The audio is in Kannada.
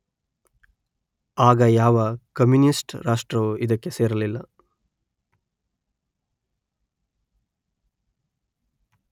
ಆಗ ಯಾವ ಕಮ್ಯೂನಿಸ್ಟ್‌ ರಾಷ್ಟ್ರವೂ ಇದಕ್ಕೆ ಸೇರಿರಲಿಲ್ಲ